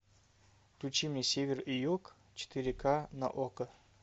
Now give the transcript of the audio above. включи мне север и юг четыре ка на окко